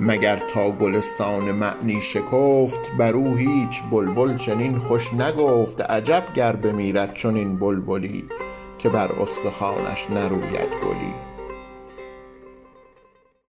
مگر تا گلستان معنی شکفت بر او هیچ بلبل چنین خوش نگفت عجب گر بمیرد چنین بلبلی که بر استخوانش نروید گلی